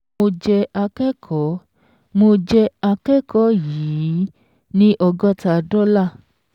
Mo jẹ akẹ́kọ̀ọ́ mo jẹ akẹ́kọ̀ọ́ yìí ọgọ́ta dọ́là.